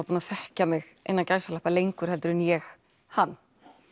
búinn að þekkja mig innan gæsalappa lengur en ég hann